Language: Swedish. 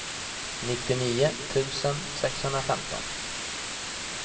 nittionio tusen sexhundrafemton